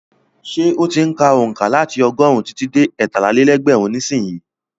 Ṣé ó ti ń ka onka láti ọgọ́rùn-ún títí dé ẹtálá-lé-lẹ́gbẹ̀rún nísìnyí?